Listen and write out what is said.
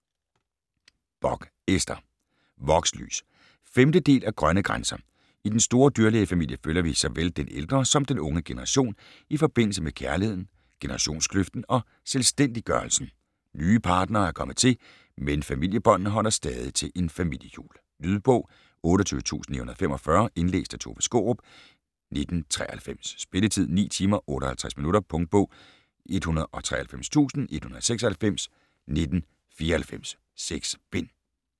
Bock, Ester: Vokslys 5. del af Grønne grænser. I den store dyrlægefamilie følger vi såvel den ældre som den unge generation i forbindelse med kærligheden, generationskløften og selvstændiggørelsen, nye partnere er kommet til, men familiebåndene holder stadig til en familiejul. Lydbog 28945 Indlæst af Tove Skaarup, 1993. Spilletid: 9 timer, 58 minutter. Punktbog 193196 1994. 6 bind.